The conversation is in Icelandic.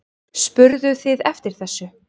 Spurðuð þið eftir þessu?